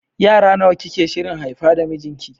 Yara nawa kike shirin haifa da mijinki?